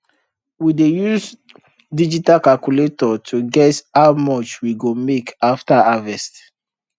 we dey use digital calculator to guess how much we go make after harvest